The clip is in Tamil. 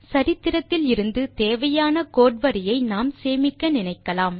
சரித்திரத்தில் இருந்து தேவையான கோடு வரியை நாம் சேமிக்க நினைக்கலாம்